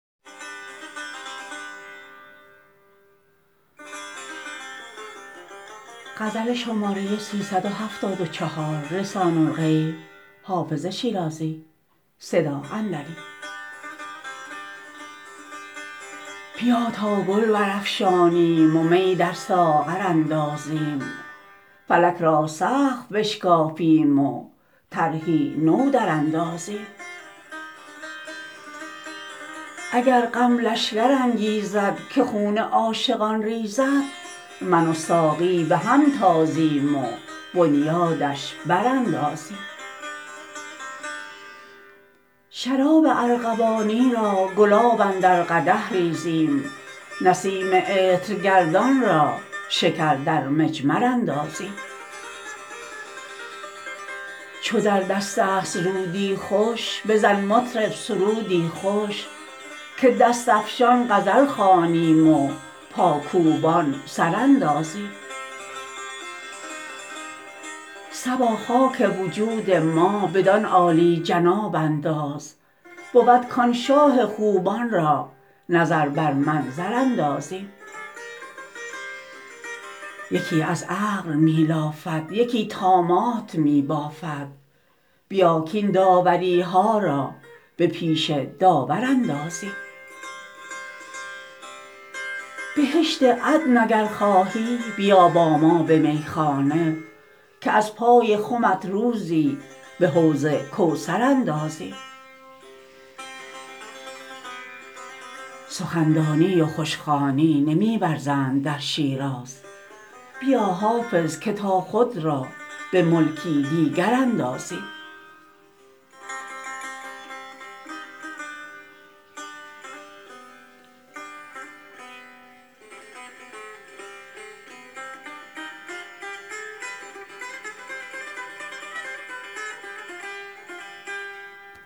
بیا تا گل برافشانیم و می در ساغر اندازیم فلک را سقف بشکافیم و طرحی نو دراندازیم اگر غم لشکر انگیزد که خون عاشقان ریزد من و ساقی به هم تازیم و بنیادش براندازیم شراب ارغوانی را گلاب اندر قدح ریزیم نسیم عطرگردان را شکر در مجمر اندازیم چو در دست است رودی خوش بزن مطرب سرودی خوش که دست افشان غزل خوانیم و پاکوبان سر اندازیم صبا خاک وجود ما بدان عالی جناب انداز بود کآن شاه خوبان را نظر بر منظر اندازیم یکی از عقل می لافد یکی طامات می بافد بیا کاین داوری ها را به پیش داور اندازیم بهشت عدن اگر خواهی بیا با ما به میخانه که از پای خمت روزی به حوض کوثر اندازیم سخن دانی و خوش خوانی نمی ورزند در شیراز بیا حافظ که تا خود را به ملکی دیگر اندازیم